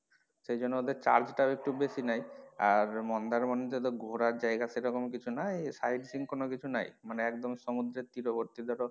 সেজন্য ওদের charge টা একটু বেশি নেয় আর মন্দারমনি তে তো ঘোরার জায়গা সেরকম কিছু নাই side scene কোনো কিছু নাই মানে একদম সমুদ্রের তীরবর্তী তে তো